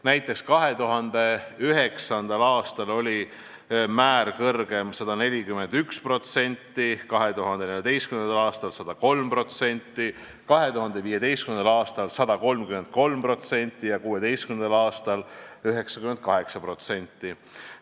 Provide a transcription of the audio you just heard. Näiteks oli 2009. aastal see määr kõrgem 141%, 2014. aastal 103%, 2015. aastal 133% ja 2016. aastal 98%.